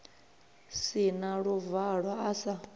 si na luvalo a sa